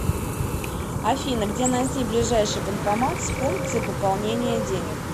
афина где найти ближайший банкомат с функцией пополнения денег